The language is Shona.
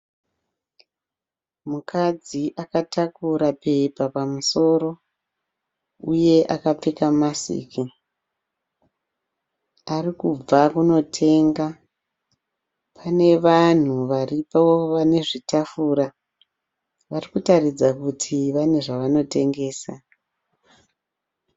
Mukadzi akatakura bepa pamusoro uye akapfeka masiki ari kubva kunotenga, pane vanhu vari pazvitafura vari kuratidza kuti vane zvavanotengesa.